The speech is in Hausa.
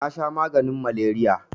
nasha maganin maleriya